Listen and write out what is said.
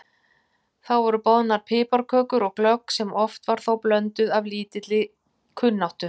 Þá voru boðnar piparkökur og glögg sem oft var þó blönduð af lítilli kunnáttu.